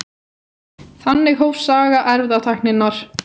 Þannig hófst saga erfðatækninnar.